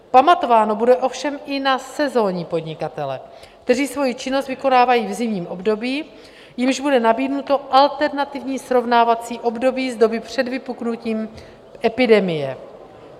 Pamatováno bude ovšem i na sezonní podnikatele, kteří svoji činnost vykonávají v zimním období, jimž bude nabídnuto alternativní srovnávací období z doby před vypuknutím epidemie.